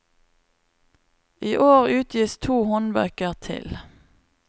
I år utgis to håndbøker til.